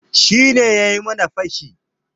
Shi ne yayi mana fashi.